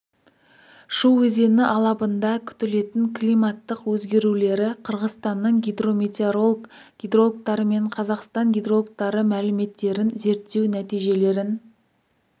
шу өзені алабында күтілетін климаттық өзгерулері қырғызстанның гидрометеоролог гидрологтары мен қазақстан гидрологтары мәліметтерін зерттеу нәтижелерін